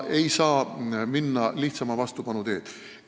Ei tohi minna lihtsama vastupanu teed.